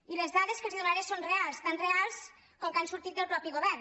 i les dades que els donaré són reals tan reals com que han sortit del mateix govern